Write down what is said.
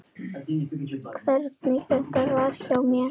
Hvernig þetta verði hjá mér.